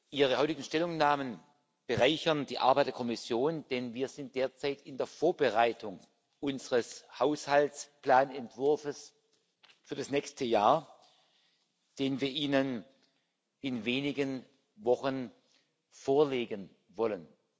Ihre heutigen Stellungnahmen bereichern die Arbeit der Kommission, denn wir sind derzeit in der Vorbereitung unseres Haushaltsplanentwurfs für das nächste Jahr, den wir Ihnen in wenigen Wochen vorlegen wollen.